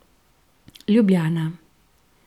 Ljubljana.